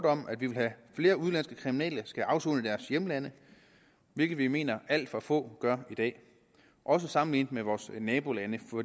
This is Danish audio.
om at vi vil have at flere udenlandske kriminelle skal afsone i deres hjemland hvilket vi mener alt for få gør i dag også sammenlignet med vores nabolande for